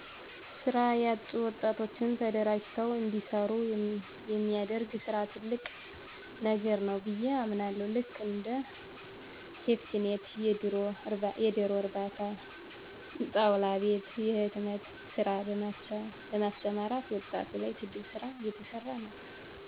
ስራ ያጡ ወጣቶችን ተደራጅተዉ እንዲሰሩ የሚደረግ ስራ ትልቅ ነገር ነዉ ብየ አምናለሁ ልክ እንደ ሴፍቲኔት የደሮ እርባታ ጣዉላ ቤት የህትመት ስራ በማሰማራት ዉጣቱ ላይ ትልቅ ስራ እየተሰራ ነዉ